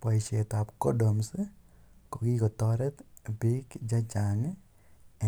Poishet ap condoms ko kikotaret piik che chang'